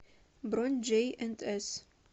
бронь джей энд эс